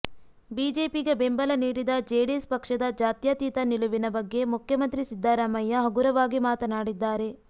ಬಿಜೆಪಿಗೆ ಬೆಂಬಲ ನೀಡಿದ ಜೆಡಿಎಸ್ ಪಕ್ಷದ ಜಾತ್ಯತೀತ ನಿಲುವಿನ ಬಗ್ಗೆ ಮುಖ್ಯಮಂತ್ರಿ ಸಿದ್ದರಾಮಯ್ಯ ಹಗುರವಾಗಿ ಮಾತನಾಡಿದ್ದಾರೆ